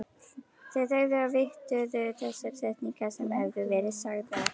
Þau þögðu og viktuðu þessar setningar sem höfðu verið sagðar.